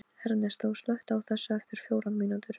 Ernestó, slökktu á þessu eftir fjórar mínútur.